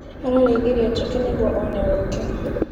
Ararĩithirie njũkĩ nĩguo one ũkĩ.